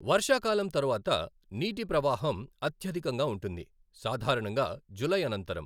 వర్షాకాలం తరువాత నీటి ప్రవాహం అత్యధికంగా ఉంటుంది, సాధారణంగా జూలై అనంతరం.